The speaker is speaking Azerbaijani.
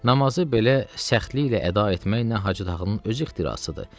Namazı belə səxtliklə əda etmək nə Hacı Tağının öz ixtirasıdır.